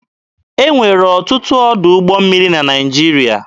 E nwere ọtụtụ ọdụ ụgbọ mmiri na Naịjirịa.